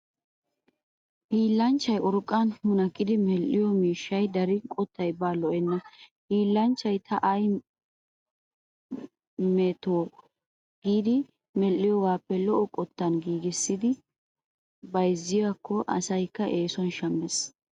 Hiillanchchay urqqaa munaqqidi medhdhido miishshay darin qottay baa lo'enna. Hiillanchay ta ayi me too giidi medhdhiyogaappe lo'o qottan giigissikko bayzziyode asayikka eesuwan shammes.